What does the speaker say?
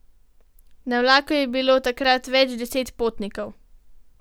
Na vlaku je bilo takrat več deset potnikov.